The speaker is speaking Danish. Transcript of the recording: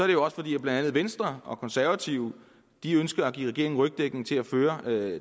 det jo også fordi blandt andet venstre og konservative ønsker at give regeringen rygdækning til at føre